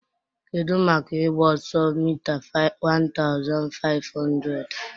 Kedu maka ịgba ọsọ mita 1500?